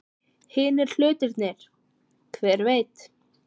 Hinir hlutirnir. hver veit?